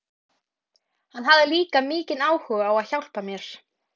Hann hafði líka mikinn áhuga á að hjálpa mér.